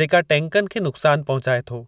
जेका टैंकनि खे नुक़्सान पहुचाए थो।